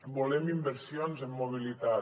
volem inversions en mobilitat